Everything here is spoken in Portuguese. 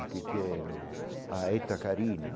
O que que é o a?